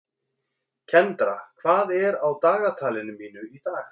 Kendra, hvað er á dagatalinu mínu í dag?